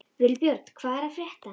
Vilbjörn, hvað er að frétta?